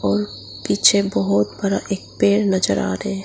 और पीछे बहुत बड़ा एक पेड़ नजर आ रहे --